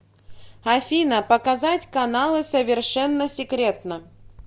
афина показать каналы совершенно секретно